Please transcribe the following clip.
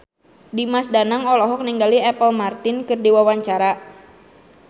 Dimas Danang olohok ningali Apple Martin keur diwawancara